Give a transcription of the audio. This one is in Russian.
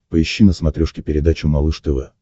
поищи на смотрешке передачу малыш тв